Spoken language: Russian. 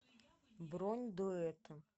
бронь дуэты